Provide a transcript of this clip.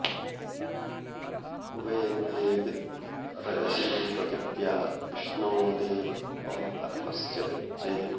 उ॒भे ते॑ विद्म॒ रज॑सी पृथि॒व्या विष्णो॑ देव॒ त्वं प॑र॒मस्य॑ वित्से